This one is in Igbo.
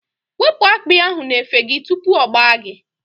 Wepụ akpi ahụ n'efe gị tupu ọ gbaa gị!